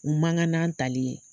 U man kan n'an tali ye.